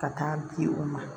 Ka taa di u ma